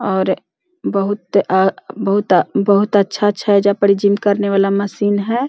और बहुत अ बहुत अ बहुत अच्छा-अच्छा एजा पर जिम करने वाला मशीन है।